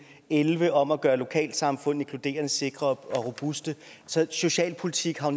elleve om at gøre lokalsamfund inkluderende sikre og robuste så socialpolitik har